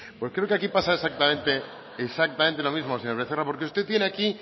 pues creo que aquí pasa exactamente lo mismo señor becerra porque usted tiene aquí